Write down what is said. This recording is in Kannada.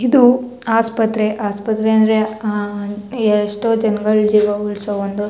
ಇದು ಆಸ್ಪತ್ರೆ ಆಸ್ಪತ್ರೆ ಅಂದ್ರೆ ಅಹ್ ಎಷ್ಟೋ ಜನಗಳ್ ಜೀವ ಉಳಿಸೋ ಒಂದು .